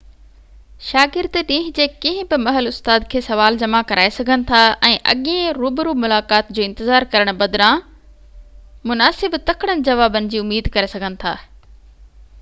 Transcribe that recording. شاگرد ڏينهن جي ڪنهن بہ مهل استاد کي سوال جمع ڪرائي سگهن ٿا ۽ اڳين روبرو ملاقات جو انتظار ڪرڻ بدران مناسب تڪڙن جوابن جي اميد ڪري سگهن ٿا